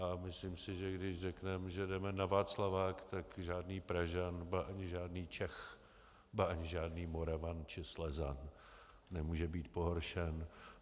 A myslím si, že když řekneme, že jdeme na Václavák, tak žádný Pražan, ba ani žádný Čech, ba ani žádný Moravan či Slezan nemůže být pohoršen.